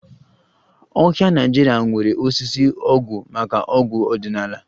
Ọhịa Naịjirịa nwere osisi ọgwụ maka ọgwụ ọdịnala